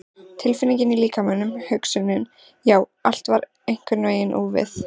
Tilfinningin í líkamanum, hugsunin, já, allt var einhvern veginn úfið.